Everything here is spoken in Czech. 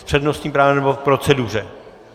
S přednostním právem, nebo k proceduře?